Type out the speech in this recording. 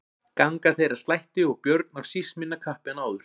Ganga þeir að slætti og Björn af síst minna kappi en áður.